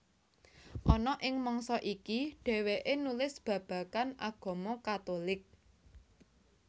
Ana ing mangsa iki dhèwèké nulis babagan agama Katulik